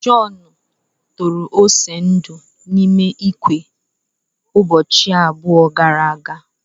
John tụrụ ose ndu n'ime ikwe ụbọchị abụọ gara aga.